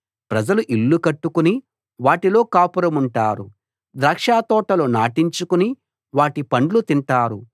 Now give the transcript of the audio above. ప్రజలు ఇళ్ళు కట్టుకుని వాటిలో కాపురముంటారు ద్రాక్షతోటలు నాటించుకుని వాటి పండ్లు తింటారు